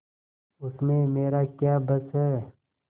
उसमें मेरा क्या बस है